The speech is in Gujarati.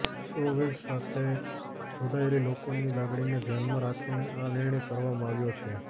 શોવેજ સાથે જોડાયેલી લોકોની લાગણીને ધ્યાનમાં રાખીને આ નિર્ણય કરવામાં આવ્યો છે